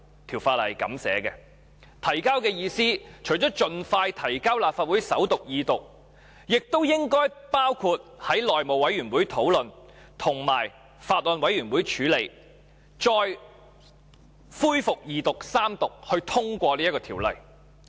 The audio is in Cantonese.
提交的意思，除了盡快提交立法會首讀及二讀外，亦應包括在內務委員會討論及由法案委員會處理，再恢復二讀及三讀，然後通過這項法案。